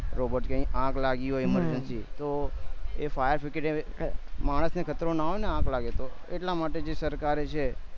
robot કે કઈ આગ લાગી હોય એમાં emergency તો fire brigade એ માણસ ને કચરો ન આવે આગ લાગે તો એટલા માટે જે સરકાર જે છે